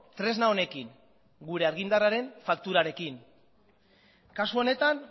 tresna honekin gure argindarraren fakturarekin kasu honetan